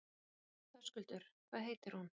Höskuldur: Hvað heitir hún?